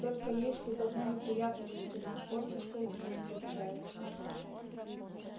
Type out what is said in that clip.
только есть тут одна неприятность лейтенант отпуска у тебя не получается